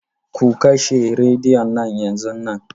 Ku kashe rediyon nan yanzun nan.